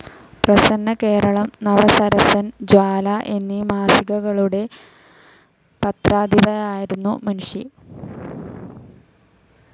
പ്രസന്നകേരളം, നവസരസൻ, ജ്വാല എന്നീ മാസികകളുടെ പത്രാധിപരായിരുന്നു മുൻഷി.